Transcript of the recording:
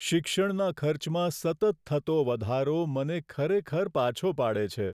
શિક્ષણના ખર્ચમાં સતત થતો વધારો, મને ખરેખર પાછો પાડે છે.